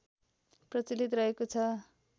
प्रचलित रहेको छ